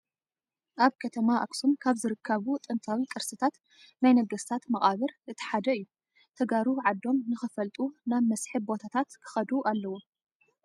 ኣብ ከተማ ኣክሱም ካብ ዝርከቡ ጥንታዊ ቅርስታት ናይ ነገስታት መቃብር እቲ ሓደ እዩ። ተጋሩ ዓዶም ንክፈልጡ ናብ መስሕብ ቦታታት ክኸዱ ኣለዎም።